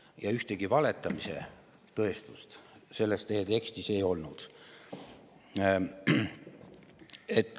Ja ühtegi valetamise tõestust selles teie kõnes ei olnud.